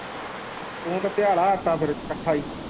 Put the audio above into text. ਤੂੰ ਤੇ ਪਿਆਲਾ ਆਟਾ ਫਿਰ ਇੱਕਠਾ ਹੀ।